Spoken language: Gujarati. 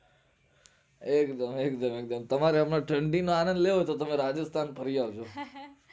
એકદમ એક્દમ ઠંડી નો આનંદ લેવો હોયતો તમે રાજેષ્ઠાન ફરી આવજો